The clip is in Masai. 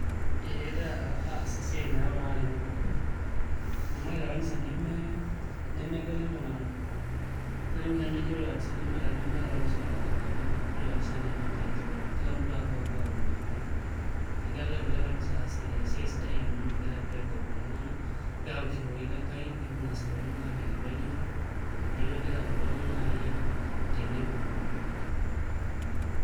Ee egira aas esiai nayau iltung'anak tenebo amu ore te kanisa nemegeli iltung'anak aning' oshi ake eji ore kanisa nemeeta kanisa olopeny, ore kanisa naa ene Enkai napuo kila mtu apuo aaomonie Enkai negira ilarikok le kanisa aas esiai sidai amu megira aibagua iltung'anak kegira ake aapuo aishooyo ororei le Enkai nepuo ainasaki iltung'anak aajoki pee enyorra neeku egira aayau iltung'anak naai tenebo.